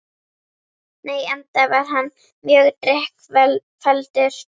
Nei, enda var hann mjög drykkfelldur